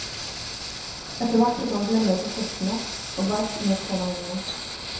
Etter hvert fikk han blemmer på føttene og verk under tåneglene.